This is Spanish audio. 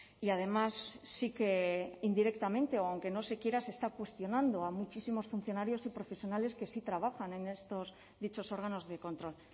y además sí que indirectamente o aunque no se quiera se está cuestionando a muchísimos funcionarios y profesionales que sí trabajan en estos dichos órganos de control